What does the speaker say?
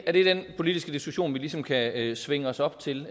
er det den politiske diskussion vi ligesom kan svinge os op til